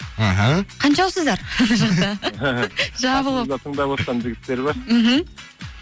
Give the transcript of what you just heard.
мхм қаншаусыздар жабылып қасымызда тыңдап отырған жігіттер бар мхм